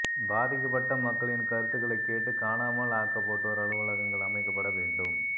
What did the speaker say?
பாதிக்கப்பட்ட மக்களின் கருத்துக்களை கேட்டு காணாமல் ஆக்கப்பட்டோர் அலுவலகங்கள் அமைக்கப்பட வேண்டும்